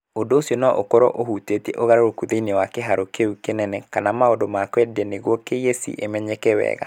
Ũndũ ũcio no ũkorũo ũhutĩtie ũgarũrũku thĩinĩ wa kĩhaaro kĩu kĩene kana maũndũ ma kũendia nĩguo KEC ĩmenyeke wega.